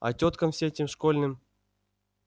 а тёткам всем этим школьным